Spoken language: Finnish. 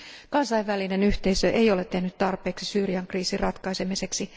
Kansainvälinen yhteisö ei ole tehnyt tarpeeksi Syyrian kriisin ratkaisemiseksi.